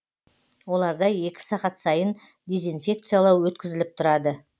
оларда екі сағат сайын дезинфекциялау өткізіліп тұрады